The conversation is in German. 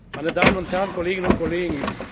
Meine Damen und Herren, Kolleginnen und Kollegen!